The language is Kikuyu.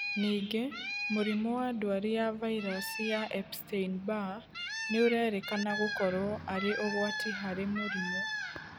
Ningĩ, mũrimũ wa ndwari ya vairaci ya Epsteinn Barr nĩũrerĩkana gũkorwo arĩ ũgwati harĩ mũrimũ